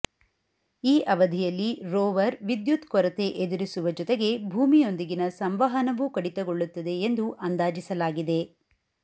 ಈ ಅವಧಿಯಲ್ಲಿ ರೋವರ್ ವಿದ್ಯುತ್ ಕೊರತೆ ಎದುರಿಸುವ ಜೊತೆಗೆ ಭೂಮಿಯೊಂದಿನ ಸಂವಹನವೂ ಕಡಿತಗೊಳ್ಳುತ್ತದೆ ಎಂದು ಅಂದಾಜಿಸಲಾಗಿದೆ